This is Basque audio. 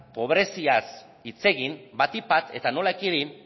pobreziaz hitz egin batik bat eta nola ekidin